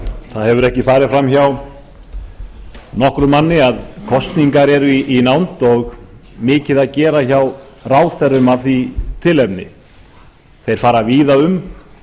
það hefur ekki farið framhjá nokkrum manni að kosningar eru í nánd og mikið að gera hjá ráðherrum af því tilefni þeir fara víða um